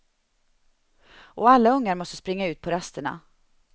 Och alla ungar måste springa ut på rasterna.